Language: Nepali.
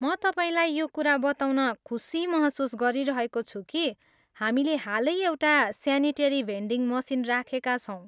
म तपाईँलाई यो कुरा बताउन खुसी महसुस गरिरहेको छु कि हामीले हालै एउटा स्यानिटेरी भेन्डिङ मसिन राखेका छौँ।